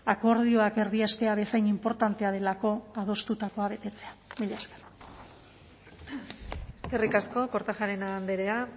akordioak erdiestea bezain inportantea delako adostutakoa betetzea mila esker eskerrik asko kortajarena andrea